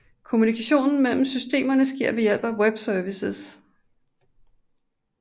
Kommunikationen mellem systemerne sker ved hjælp af webservices